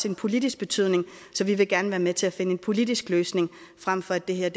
en politisk betydning så vi vil gerne være med til at finde en politisk løsning frem for at det her